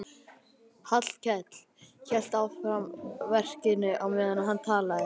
Hallkell hélt áfram verkinu á meðan hann talaði.